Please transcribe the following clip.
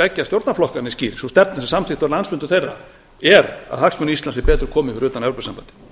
beggja stjórnarflokkanna er skýr sú stefna sem samþykkt var á landsfundum þeirra er að hagsmunum íslands sé betur komið fyrir utan evrópusambandið